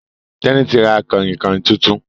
Teni tí ra Kànrìnkàn títún